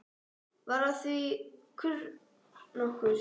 Varð af því kurr nokkur.